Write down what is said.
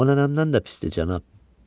Onlardan da pisdir, cənab.